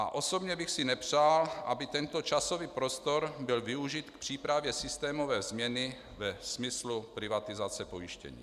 A osobně bych si nepřál, aby tento časový prostor byl využit k přípravě systémové změny ve smyslu privatizace pojištění.